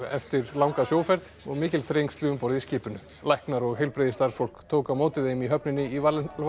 eftir langa sjóferð og mikil þrengsli um borð í skipinu læknar og heilbrigðisstarfsfólk tók á móti þeim í höfninni í